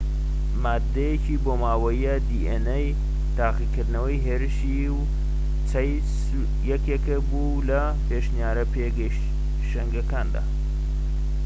تاقیکردنەوەی هێرشی و چەیس یەکێک بوو لە پێشنیارە پێشەنگەکان کە dna مادەیەکی بۆماوەییە